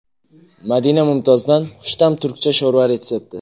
Madina Mumtozdan xushta’m turkcha sho‘rva retsepti .